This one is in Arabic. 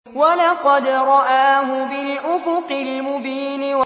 وَلَقَدْ رَآهُ بِالْأُفُقِ الْمُبِينِ